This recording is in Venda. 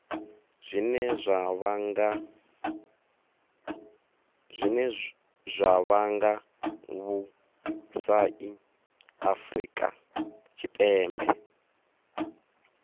zwine zwa vhanga vhusai afurika tshipembe